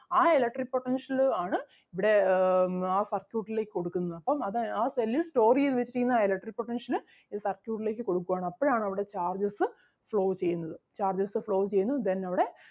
ആ electric potential ആണ് ഇവിടെ ആഹ് ആ circuit ലേക്ക് കൊടുക്കുന്നത് അപ്പം അത് ആ cell ൽ store ചെയ്‌ത്‌ വെച്ചിരിക്കുന്ന ആ electric potential അഹ് circuit ലേക്ക് കൊടുക്കുവാണ് അപ്പഴാണ് അവിടെ charges flow ചെയ്യുന്നത് charges flow ചെയ്യുന്നു then അവിടെ